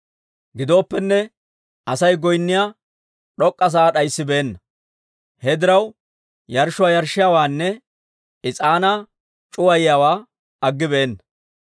Gidooppenne Asay goynniyaa d'ok'k'a sa'aa d'ayisibeenna; he diraw yarshshuwaa yarshshiyaawaanne is'aanaa c'uwayiyaawaa aggibeenna.